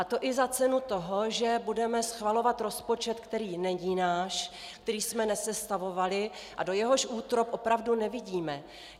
A to i za cenu toho, že budeme schvalovat rozpočet, který není náš, který jsme nesestavovali a do jehož útrob opravdu nevidíme.